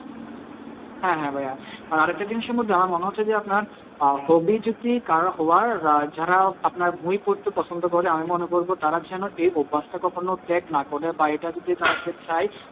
হ্যাঁ হ্যাঁ ভাইয়া আর একটা জিনিসের মধ্যে আমার মনে হচ্ছে যে আপনার hobby যদি কারোর হওয়ার যারা আপনার বই পড়তে পছন্দ করে আমি মনে করবো তারা যেনো এই অভ্যাসটা কখনো ত্যাগ না করে বা এইটা যদি তারা যে চায়